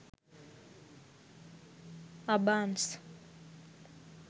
abans